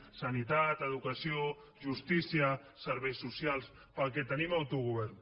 sanitat educació justícia serveis socials per al que tenim autogovern